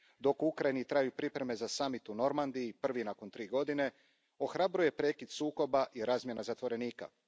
Dok u Ukrajini traju pripreme za samit u Normandiji, prvi nakon tri godine, ohrabruje prekid sukoba i razmjena zatvorenika.